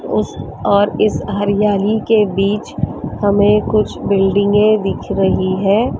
उस और इस हरियाली के बीच हमें कुछ बिल्डिंगे दिख रही है।